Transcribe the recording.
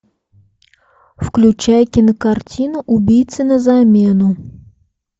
включай кинокартину убийца на замену